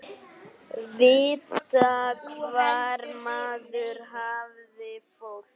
Vita hvar maður hafði fólk.